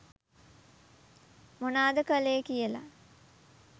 මොනාද කළේ කියලා.